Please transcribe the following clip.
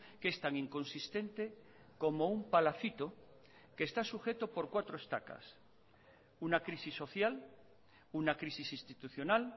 que es tan inconsistente como un palacito que está sujeto por cuatro estacas una crisis social una crisis institucional